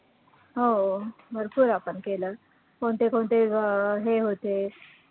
हो भरपूर आपण केलं, कोणते कोणते अं हे होते